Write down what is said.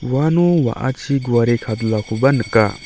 uano wa·achi guare kadulakoba nika.